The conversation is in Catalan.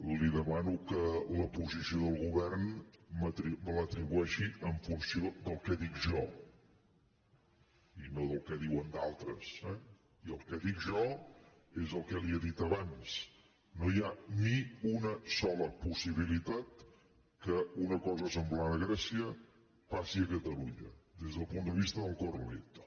li demano que la posició del govern me l’atribueixi en funció del que dic jo i no del que diuen d’altres eh i el que dic jo és el que li he dit abans no hi ha ni una sola possibilitat que una cosa semblant a grècia passi a catalunya des del punt de vista del corralito